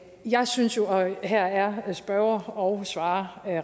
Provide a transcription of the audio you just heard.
jeg synes jo og her er spørger og svarer